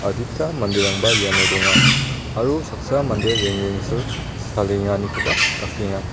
adita manderangba iano donga aro saksa mande rengrengsil salenganikoba dakenga.